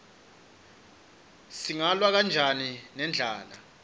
singalwa kanjani nendlala